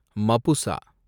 Mapusa